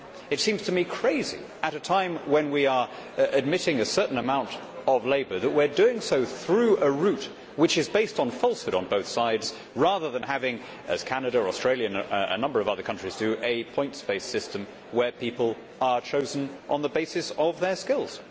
It seems to me crazy at a time when we are admitting a certain amount of labour that we are doing so through a route which is based on falsehood on both sides, rather than having, as Canada, Australia, and a number of other countries do, a points based system where people are chosen on the basis of their skills.